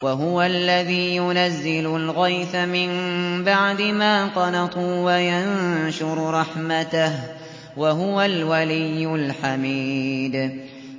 وَهُوَ الَّذِي يُنَزِّلُ الْغَيْثَ مِن بَعْدِ مَا قَنَطُوا وَيَنشُرُ رَحْمَتَهُ ۚ وَهُوَ الْوَلِيُّ الْحَمِيدُ